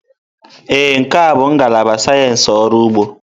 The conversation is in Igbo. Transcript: Ee, nke a bụ ngalaba sayensị ọrụ ugbo.